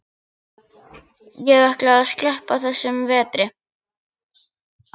Ég ætla að sleppa þessum vetri.